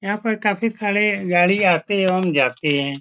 यहाँ पर काफी सारे गाड़ी आती एवं जाती हैं।